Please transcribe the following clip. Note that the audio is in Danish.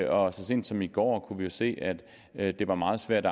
år så sent som i går kunne vi se at at det var meget svært